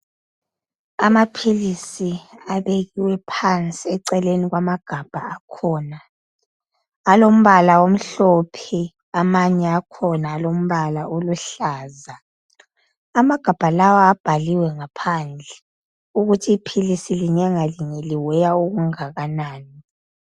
Amaphilisi abekiwe phansi eceleni kwamagabha akhona alombala amhlophe amanye akhona alombala oluhlaza amagabha lawa abhaliwe ngaphandle ukuthi iphilisi linye ngalinye li weigher okungakanani.